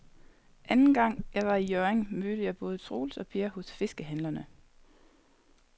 Anden gang jeg var i Hjørring, mødte jeg både Troels og Per hos fiskehandlerne.